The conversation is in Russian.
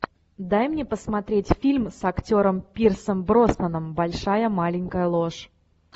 дай мне посмотреть фильм с актером пирсом броснаном большая маленькая ложь